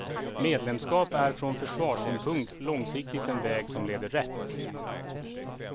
Medlemskap är från försvarssynpunkt långsiktigt den väg som leder rätt.